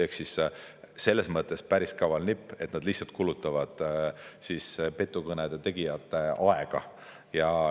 Ehk selles mõttes päris kaval nipp, et nad lihtsalt kulutavad petukõnede tegijate aega.